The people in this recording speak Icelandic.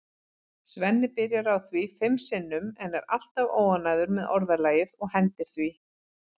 Svenni byrjar á því fimm sinnum en er alltaf óánægður með orðalagið og hendir því.